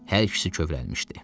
Hər ikisi kövrəlmişdi.